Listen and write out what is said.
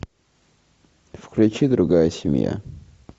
включи другая семья